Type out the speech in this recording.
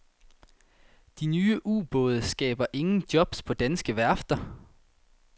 De nye ubåde skaber ingen jobs på danske værfter.